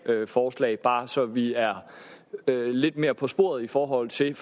forslag bare så vi er lidt mere på sporet i forhold til